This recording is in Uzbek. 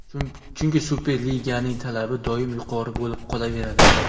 Chunki Superliganing talabi doim yuqori bo‘lib qolaveradi.